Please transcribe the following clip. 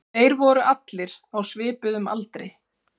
Þeir voru allir á svipuðum aldri